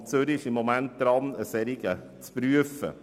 Der Kanton Zürich ist im Moment dabei, einen solchen zu prüfen.